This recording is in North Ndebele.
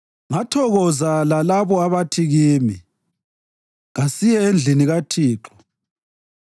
Ngathokoza lalabo abathi kimi, “Kasiye endlini kaThixo.”